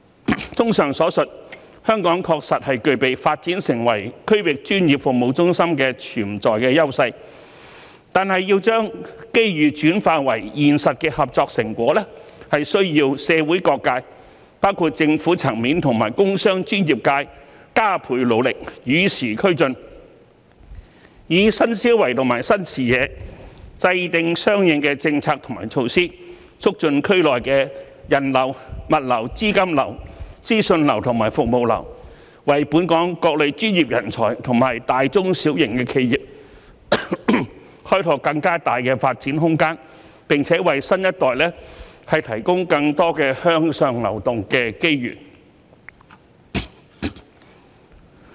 綜合以上所述，香港確實具備發展成為區域專業服務中心的潛在優勢，但要將機遇轉化為現實的合作成果，是需要社會各界，包括政府層面和工商專業界加倍努力，與時俱進，以新思維和新視野制訂相應的政策及措施，促進區內的人流、物流、資金流、資訊流和服務流，為本港各類專業人才和大、中、小型企業開拓更大的發展空間，並為新一代提供更多向上流動的機遇。